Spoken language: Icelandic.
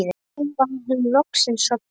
Og nú var hún loksins sofnuð.